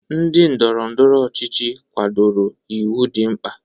Ndị ndọrọ ndọrọ ọchịchị kwadoro iwu dị mkpa.